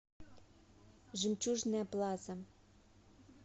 жемчужная плаза